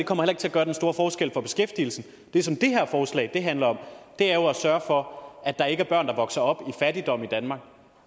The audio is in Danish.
kommer ikke til at gøre den store forskel for beskæftigelsen det som det her forslag handler om er jo at sørge for at der ikke er børn der vokser op i fattigdom i danmark